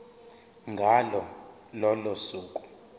ngalo lolo suku